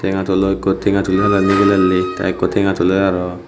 tenga tulo ikko tenga tuli tulai nigilelli tey ikko tenga tuler aro.